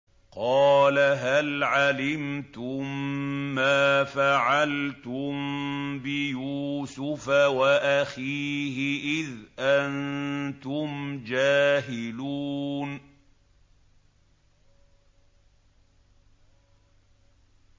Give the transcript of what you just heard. قَالَ هَلْ عَلِمْتُم مَّا فَعَلْتُم بِيُوسُفَ وَأَخِيهِ إِذْ أَنتُمْ جَاهِلُونَ